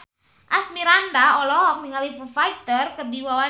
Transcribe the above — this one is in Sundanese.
Asmirandah olohok ningali Foo Fighter keur diwawancara